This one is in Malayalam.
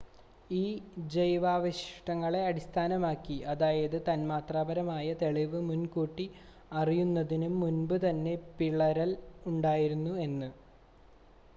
ഈ ജൈവാവശിഷ്ടങ്ങളെ അടിസ്ഥാനമാക്കി അതായത് തന്മാത്രാപരമായ തെളിവ് മുൻ കൂട്ടി അറിയുന്നതിനും മുൻപ് തന്നെ പിളരൽ ഉണ്ടായിരുന്നു എന്ന്